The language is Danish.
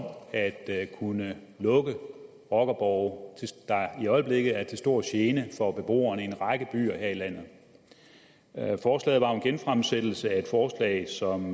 at at kunne lukke rockerborge der i øjeblikket er til stor gene for beboerne i en række byer her i landet forslaget var jo en genfremsættelse af et forslag som